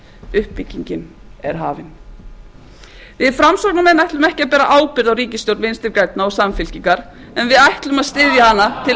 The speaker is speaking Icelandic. uppbyggingin er hafin við framsóknarmenn ætlum ekki að bera ábyrgð á ríkisstjórn vinstri grænna og samfylkingar en við ætlum að styðja hana til